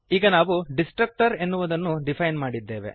ಈಗ ನಾವು ಡಿಸ್ಟ್ರಕ್ಟರ್ ಎನ್ನುವುದನ್ನು ಡಿಫೈನ್ ಮಾಡಿದ್ದೇವೆ